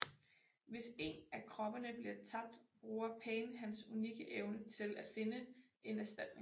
Hvis en af kroppene bliver tabt bruger Pain hans unikke evne til at finde en erstatning